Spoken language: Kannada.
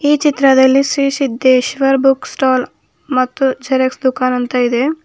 ಈ ಚಿತ್ರದಲ್ಲಿ ಶ್ರೀ ಸಿದ್ದೇಶ್ವರ ಬುಕ್ ಸ್ಟಾಲ್ ಮತ್ತು ಜೆರಾಕ್ಸ್ ದುಕಾನ್ ಅಂತ ಇದೆ.